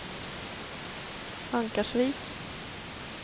Ankarsvik